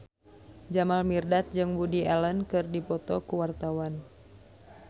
Jamal Mirdad jeung Woody Allen keur dipoto ku wartawan